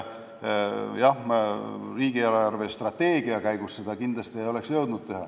Jah, riigi eelarvestrateegia menetlemise käigus ei oleks seda kindlasti jõudnud teha.